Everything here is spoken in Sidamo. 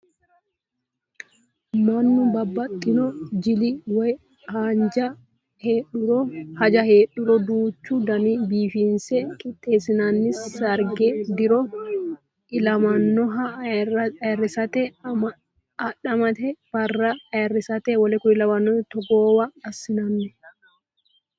Mannu babbaxino jili woyi haja heedhuro duuchu danii biifinse qixxeesinanni. Sarge, diro illamoyiha ayiirisirate, adhammete barra ayiirisirate w.k.l togoowa assi'nanni.